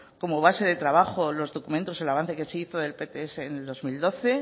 como base de trabajo los documentos el avance que se hizo en el pts en el dos mil doce